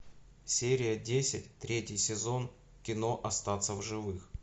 серия десять третий сезон кино остаться в живых